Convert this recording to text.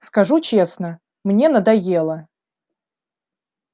скажу честно мне надоело